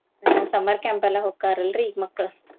ಆ summer camp ಎಲ್ಲಾ ಹೊಕ್ಕಾರ ಅಲ್ರಿ ಮಕ್ಳ್.